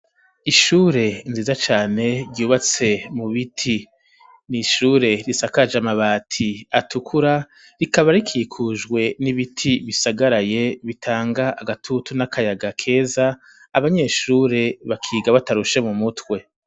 Ishure nziza cane ryubatse mu biti, n'ishure risakaje amabati atukura rikaba rikikujwe n'ibiti bisagaraye bitanga agatutu n'akayaga keza abanyeshure bakiga batarushe mu mutwe.